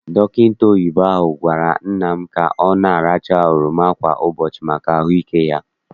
Dọkịta oyibo ahụ gwara nna m ka ọ na- aracha oroma kwa ụbọchị maka ahụike ya.